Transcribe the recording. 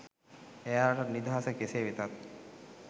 එයාලටත් නිදහස කෙසේ වෙතත්